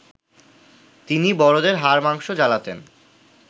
তিনি বড়দের হাড় মাংস জ্বালাতেন